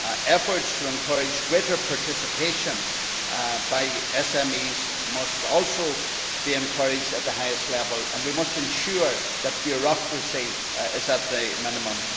Efforts to encourage greater participation by SMEs must also be encouraged at the highest level and we must ensure that bureaucracy is kept to the minimum.